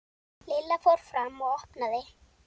Lilla fór fram og opnaði.